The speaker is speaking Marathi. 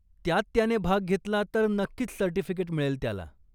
त्यात त्याने भाग घेतला तर नक्कीच सर्टिफिकेट मिळेल त्याला.